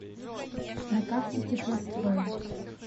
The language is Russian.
на карте теплострой